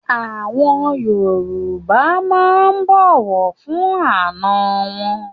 Àwọn Yorùbá máa ń bọ̀wọ̀ fún àná wọn.